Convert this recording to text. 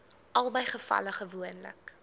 albei gevalle gewoonlik